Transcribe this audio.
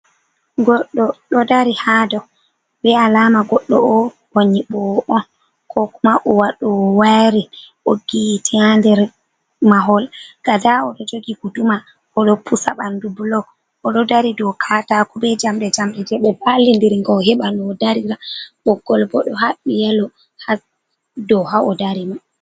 Goɗɗo ɗo dari ha dow be alama goɗɗo o o nyiɓowo on. Ko kuma o waɗo wo wairin ɓoggi hite ha nder mahol gada o ɗo jogi guduma o ɗo pusa ɓandu blog o ɗo dari dou katako be jamdi jamde je ɓe ɓalli nder nga o heɓa noo darira boggol bo ɗo haɓɓi yalo ha dou ha o dari ma.